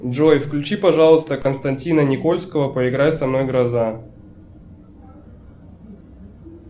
джой включи пожалуйста константина никольского поиграй со мной гроза